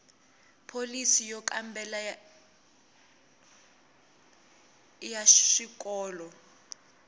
pholisi yo kambela ya swikolo